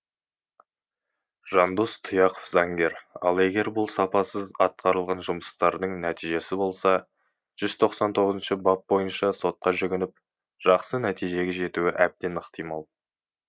жандос тұяқов заңгер ал егер бұл сапасыз атқарылған жұмыстардың нәтижесі болса жүз тоқсан тоғызыншы бап бойынша сотқа жүгініп жақсы нәтижеге жетуі әбден ықтимал